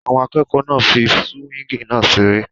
Àwọn akẹ́kọ̀ọ́ náà ń fí súwíngì náà seré